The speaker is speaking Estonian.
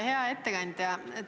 Hea ettekandja!